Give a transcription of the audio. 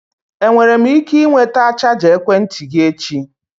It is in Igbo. Enwere m ike ịnweta chaja ekwentị gị echi?